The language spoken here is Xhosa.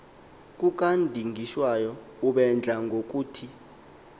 kukadingiswayo ubedla ngokuthi